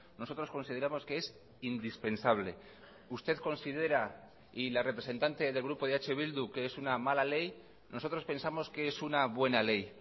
nosotros consideramos que es indispensable usted considera y la representante del grupo eh bildu que es una mala ley nosotros pensamos que es una buena ley